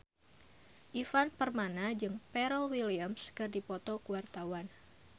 Ivan Permana jeung Pharrell Williams keur dipoto ku wartawan